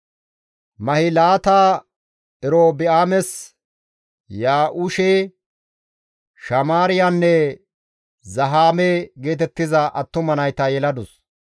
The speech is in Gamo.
Mahilaata Erobi7aames Ya7uushe, Shamaariyanne Zahaame geetettiza attuma nayta yeladus.